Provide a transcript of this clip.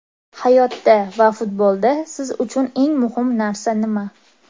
Hayotda va futbolda siz uchun eng muhim narsa nima?